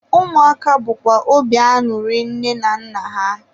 ụmụaka bụkwa obi anụrị nne na nna ha.